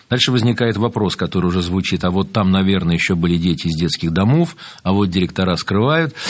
дальше возникает вопрос который уже звучит а вот там наверное ещё были дети из детских домов а вот директора скрывают